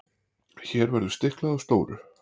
hér verður að stikla á stóru